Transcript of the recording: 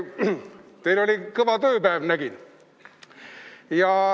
Nägin, et teil oli täna kõva tööpäev.